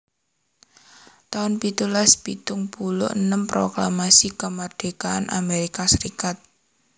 taun pitulas pitung puluh enem Proklamasi Kamardikan Amerika Serikat